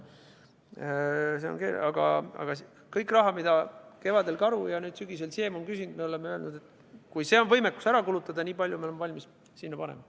Kõik raha, mida kevadel Karu ja sügisel Siem on küsinud, me oleme öelnud, et kui on võimekus see ära kulutada, siis nii palju me oleme valmis sinna panema.